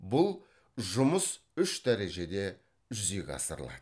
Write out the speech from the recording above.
бұл жүмыс үш дәрежеде жүзеге асырылады